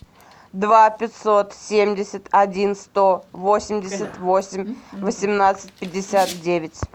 два пятьсот семьдесят один сто восемьдесят восемь восемнадцать пятьдесят девять